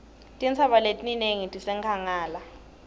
tintsaba letinengi tisenkhangala